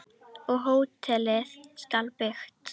Og hótelið skal byggt.